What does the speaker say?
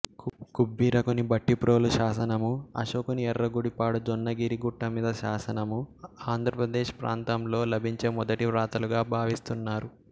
కుబ్బీరకుని భట్టిప్రోలు శాసనము అశొకుని ఎఱ్ఱగుడిపాడు జొన్నగిరి గుట్టమీది శాసనము ఆంధ్ర ప్రదేశ్ ప్రాంతంలో లభించే మొదటి వ్రాతలుగా భావిస్తున్నారు